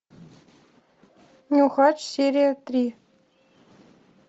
нюхач серия три